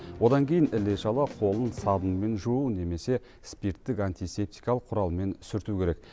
одан кейін іле шала қолын сабынмен жуу немесе спирттік антисептикалық құралмен сүрту керек